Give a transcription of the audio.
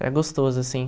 Era gostoso, assim.